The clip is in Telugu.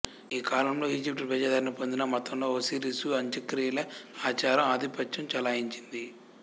ఈ కాలంలో ఈజిప్టు ప్రజాదరణ పొందిన మతంలో ఒసిరిసు అంత్యక్రియల ఆచారం ఆధిపత్యం చెలాయించింది